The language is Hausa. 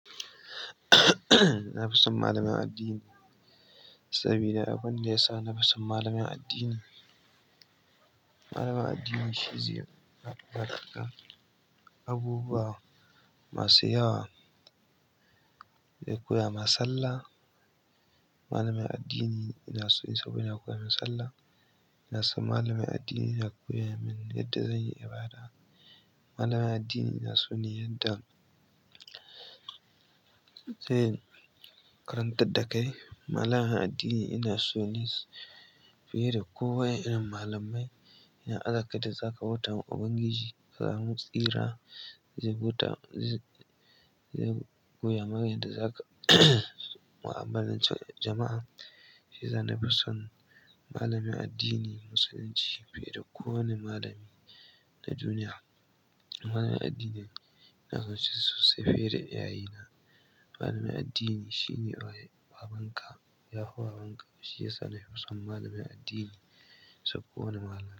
Na fi son malamin addini saboda abun da yasa nafi son malamin addini. Malamin addini shi zai bada abubuwa masu yawa. Zai koyama salla. Malamin addini inaso yi saboda yana koya min sallah. Ina so malamin addini ya koya min yadda zan yi ibada. Malamin addini ina so ne yadda zai karantar da kai. Malamin addini ina sone fiye da kowane irin malamai. Idan aka yadda zaka bautawa ubangiji ka samu tsira, zai koyama yadda zaka mu'amalanci jama'. Shiyasa nafi son malamin addini Musulunci fiye da kowane malami na duniya. Malamin addini ina son shi sosai fiye da iyaye na. Malamin addini shine babanka. Yafi babanka. Shiyasa nafi son malamin addini saboda kowane malamai.